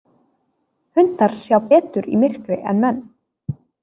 Hundar sjá betur í myrkri en menn.